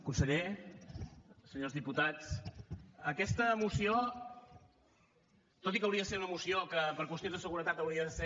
conseller senyors diputats aquesta moció tot i que hauria de ser una moció que per qüestions de seguretat hauria de ser